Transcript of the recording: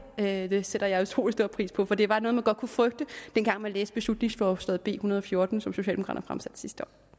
her det sætter jeg utrolig stor pris på for det var noget man godt kunne frygte dengang man læste beslutningsforslag nummer b en hundrede og fjorten som socialdemokraterne fremsatte sidste år